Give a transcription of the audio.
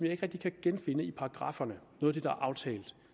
ikke rigtig kan genfinde i paragrafferne